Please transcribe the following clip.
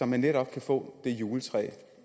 netop kan få det juletræ